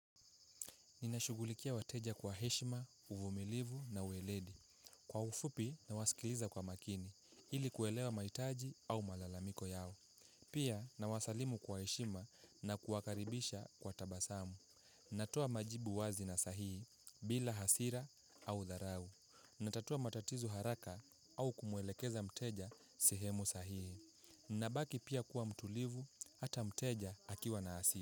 Ninashughulikia wateja kwa heshima, uvumilivu na uweledi. Kwa ufupi na wasikiliza kwa makini, ili kuelewa mahitaji au malalamiko yao. Pia na wasalimu kwa heshima na kuwakaribisha kwa tabasamu. Natoa majibu wazi na sahihi, bila hasira au dharau. Natatua matatizo haraka au kumuelekeza mteja sehemu sahihi. Nabaki pia kuwa mtulivu, ata mteja akiwa na hasira.